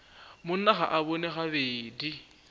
monna ga a bone gabedi